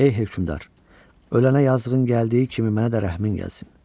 Ey hökümdar, ölənə yazığın gəldiyi kimi mənə də rəhmin gəlsin.